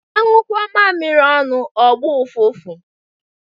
Anyukọ mamiri ọnụ ọ gbọ ụfụfụ